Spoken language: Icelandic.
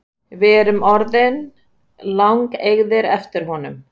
Við erum orðnir langeygðir eftir honum